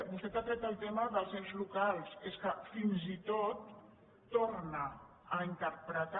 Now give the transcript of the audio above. vostè ha tret el tema dels ens locals és que fins i tot torna a interpretar